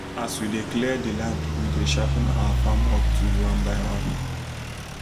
as we dey clear the land we dey sharpen our farm work tool one by one.